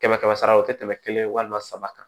Kɛmɛ kɛmɛ sara o tɛ tɛmɛ kelen ye walima saba kan